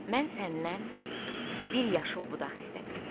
Mən səndən bir yaşıl budaq istədim.